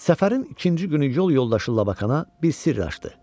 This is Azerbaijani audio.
Səfərin ikinci günü yol yoldaşı Labakana bir sirr açdı.